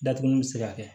Datuguli bi se ka kɛ